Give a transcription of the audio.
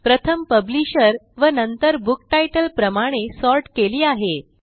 प्रथम पब्लिशर व नंतर बुक तितले प्रमाणे सॉर्ट केली आहे